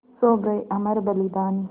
सो गये अमर बलिदानी